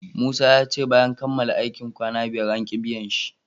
Musa yace bayan kamala aikin kwanna biyar anki biyan shi